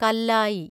കല്ലായി